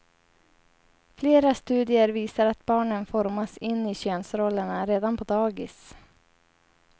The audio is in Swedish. Flera studier visar att barnen formas in i könsrollerna redan på dagis.